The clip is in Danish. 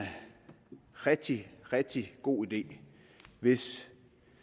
rigtig rigtig god idé hvis